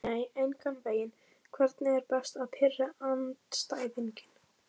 nei engan veginn Hvernig er best að pirra andstæðinginn?